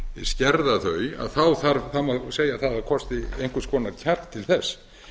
skerða þau þá má segja að það þurfi einhvers konar kjark til þess